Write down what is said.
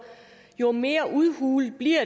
jo mere udhulet bliver